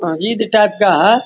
मस्जिद टाइप का है ।